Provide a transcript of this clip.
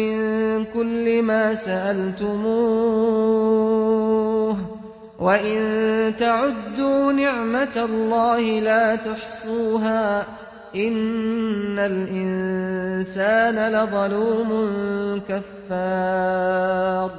مِّن كُلِّ مَا سَأَلْتُمُوهُ ۚ وَإِن تَعُدُّوا نِعْمَتَ اللَّهِ لَا تُحْصُوهَا ۗ إِنَّ الْإِنسَانَ لَظَلُومٌ كَفَّارٌ